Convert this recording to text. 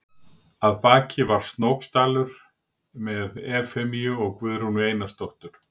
Að baki var Snóksdalur með Efemíu og Guðrúnu Einarsdóttur.